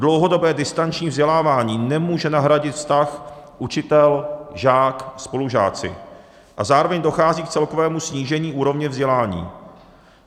Dlouhodobé distanční vzdělávání nemůže nahradit vztah učitel-žák-spolužáci a zároveň dochází k celkovému snížení úrovně vzdělání.